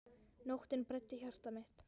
Nóttin bræddi hjarta mitt.